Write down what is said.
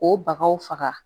O bagaw faga